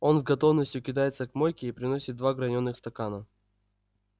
он с готовностью кидается к мойке и приносит два гранёных стакана